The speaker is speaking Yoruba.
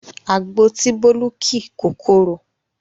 Àgbo tí Bólú ki kò korò